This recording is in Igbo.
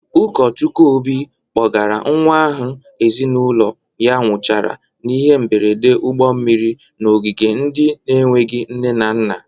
Ụkọchukwu Obi kpọgara nwa ahụ ezinụlọ ya nwụchara n'ihe mgberede ụgbọ mmiri n'ogige ndị na-enweghi nne na nna.